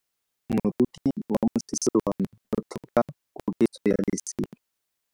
Moroki wa mosese wa me o tlhoka koketso ya lesela.